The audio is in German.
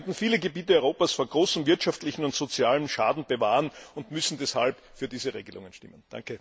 Wir könnten viele Gebiete Europas vor großem wirtschaftlichen und sozialen Schaden bewahren und müssen deshalb für diese Regelungen stimmen.